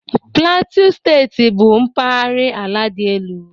Plateau Steeti bụ mpaghara ala dị elu